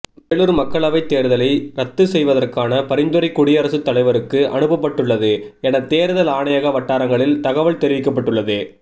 வேலூர் மக்களவைத் தேர்தலை ரத்து செய்வதற்கான பரிந்துரை குடியரசுத் தலைவருக்கு அனுப்பப்பட்டுள்ளது என தேர்தல் ஆணையக வட்டாரங்களில் தகவல் தெரிவிக்கப்பட்டுள்ளது